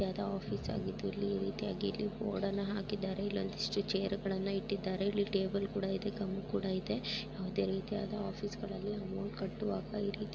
ಯಾವ್ದೋ ಆಫೀಸ್ ಆಗಿದ್ದು ಇಲ್ಲಿ ಈ ರೀತಿಯಾಗಿ ಬೋರ್ಡ್ ಅನ್ನ ಹಾಕಿದ್ದಾರೆ ಇಲ್ಲೊಂದಿಷ್ಟು ಚೇರುಗಳನ್ನ ಇಟ್ಟಿದ್ದಾರೆ ಇಲ್ಲಿ ಟೇಬಲ್ ಕೂಡ ಇದೆ ಗಮ್ ಕೂಡ ಇದೆ ಯಾವುದೇ ರೀತಿಯಾದ ಆಫೀಸ್ಗಳಲ್ಲಿ ಕಟ್ಟುವಾಗ ಇಲ್ಲಿ.